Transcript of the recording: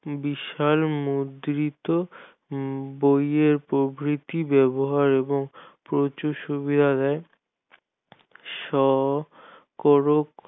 বিষয়ের মুদ্রিত বইয়ের প্রবৃত্তি ব্যাবহার এবং প্রচুর সুবিধা দেয় সকরক